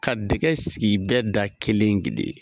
Ka dɛgɛ sigi bɛɛ da kelen kelen.